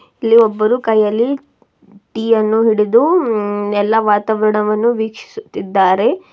ಇಲ್ಲಿ ಒಬ್ಬರು ಕೈಯಲ್ಲಿ ಟೀ ಅನ್ನು ಹಿಡಿದು ಎಲ್ಲ ವಾತಾವರಣವನ್ನು ವೀಕ್ಷಿಸುತ್ತಿದ್ದಾರೆ.